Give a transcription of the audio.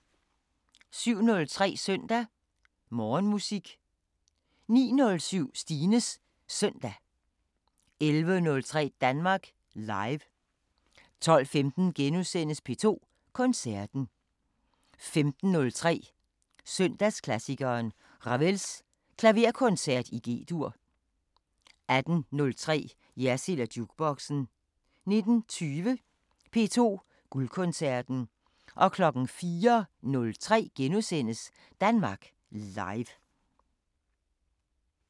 07:03: Søndag Morgenmusik 09:07: Stines Søndag 11:03: Danmark Live 12:15: P2 Koncerten * 15:03: Søndagsklassikeren – Ravels Klaverkoncert i G-dur 18:03: Jersild & Jukeboxen 19:20: P2 Guldkoncerten 04:03: Danmark Live *